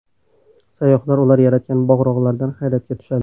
Sayyohlar ular yaratgan bog‘-rog‘lardan hayratga tushadi.